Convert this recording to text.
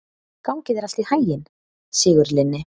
Gangi þér allt í haginn, Sigurlinni.